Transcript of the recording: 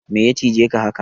Meya cije ka haka?